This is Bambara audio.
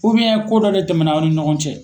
ko dɔ de tɛmɛna aw ni ɲɔgɔn cɛ.